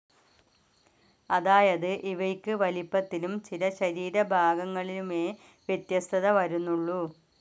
അതായത് ഇവയ്ക്ക് വലിപ്പത്തിലും ചില ശരീരഭാഗങ്ങളിലുമേ വ്യത്യസ്തത വരുന്നുള്ളു.